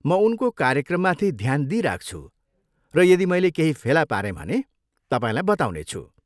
म उनको कार्यक्रममाथि ध्यान दिइराख्छु र यदि मैले केहि फेला पारेँ भने तपाईँलाई बताउनेछु।